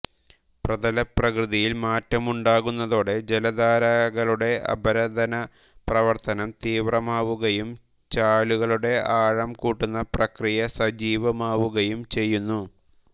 പ്രതലപ്രകൃതിയിൽ മാറ്റമുണ്ടാകുന്നതോടെ ജലധാരകളുടെ അപരദന പ്രവർത്തനം തീവ്രമാവുകയും ചാലുകളുടെ ആഴംകൂട്ടുന്ന പ്രക്രിയ സജീവമാവുകയും ചെയ്യുന്നു